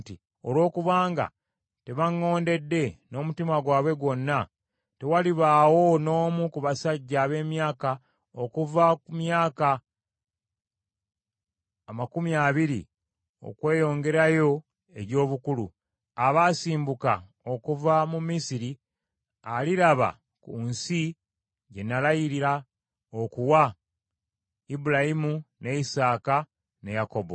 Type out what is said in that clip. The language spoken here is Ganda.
‘Olw’okubanga tebaŋŋondedde n’omutima gwabwe gwonna, tewalibaawo n’omu ku basajja ab’emyaka okuva ku myaka makumi abiri okweyongerayo egy’obukulu, abaasimbuka okuva mu Misiri, aliraba ku nsi gye nalayira okuwa Ibulayimu ne Isaaka ne Yakobo;